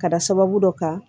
Ka da sababu dɔ kan